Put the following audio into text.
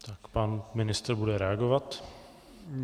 Pan ministr bude reagovat.